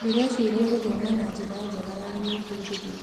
Ndĩreciria gũthoma nĩ njĩra njega ya gwĩbundithia.